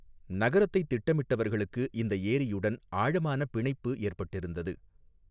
நகரத்தைத் திட்டமிட்டவர்களுக்கு இந்த ஏரியுடன் ஆழமான பிணைப்பு ஏற்பட்டிருந்தது.